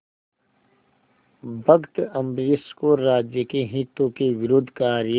भक्त अम्बरीश को राज्य के हितों के विरुद्ध कार्य